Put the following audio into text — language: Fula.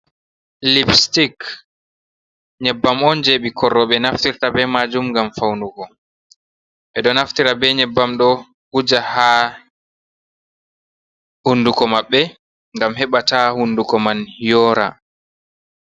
lipstik nyebbam on je ɓikkoi roɓe naftirta be majum ngam faunugo, ɓeɗo naftira be nyebbam ɗo wuja ha hunduko maɓbe, ngam heɓa ta hunduko man yora.